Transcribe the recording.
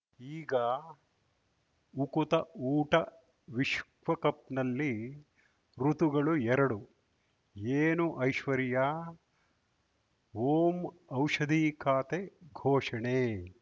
ಈಗ ಉಕುತ ಊಟ ವಿಶ್ವಕಪ್‌ನಲ್ಲಿ ಋತುಗಳು ಎರಡು ಏನು ಐಶ್ವರ್ಯಾ ಓಂ ಔಷಧಿ ಖಾತೆ ಘೋಷಣೆ